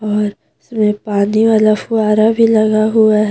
और इसमें पानी वाला फूहार भी लगा हुआ है।